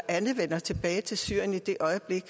alle vender tilbage til syrien i det øjeblik